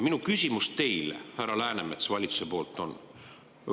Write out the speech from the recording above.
Minu küsimus teile, härra Läänemets kui valitsuse on see.